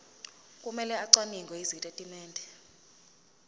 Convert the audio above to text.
kumele acwaninge izitatimende